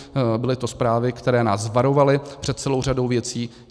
Byly to zprávy, které nás varovaly před celou řadou věcí.